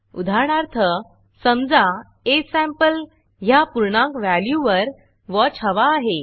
उदाहरणार्थ समजा असंपले ह्या पूर्णांक व्हॅल्यूवर वॉच हवा आहे